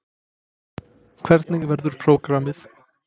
Hvernig verður prógramið?